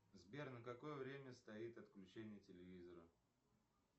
сбер на какое время стоит отключение телевизора